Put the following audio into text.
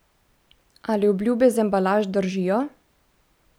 Ali obljube z embalaž držijo?